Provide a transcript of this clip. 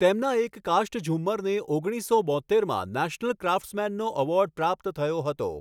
તેમના એક કાષ્ઠઝુમ્મરને ઓગણીસસો બોત્તેરમાં નેશનલ ક્રાફ્ટસમૅનનો ઍવૉર્ડ પ્રાપ્ત થયો હતો.